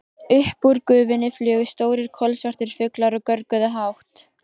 Upp úr gufunni flugu stórir, kolsvartir fuglar og görguðu hátt.